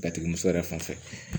Batigi muso yɛrɛ fan fɛ